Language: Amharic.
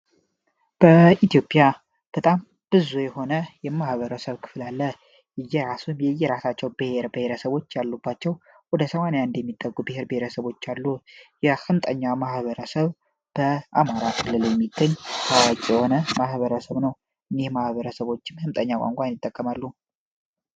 በኢትዮጵያ በጣም ብዙ የሆነ የማህበረሰብ ክፍል አለ። የእየራሳቸው ብሄር ብሄረሰቦች ያሉባቸው ወደ 80የሚጠጉ ብሄር ብሄረሰቦች አሉ የአምጠኛ ማህበረሰብ አማራ ክልሎች የሚገኝ ሰፊ የሆነ ማህበረሰብ ነው።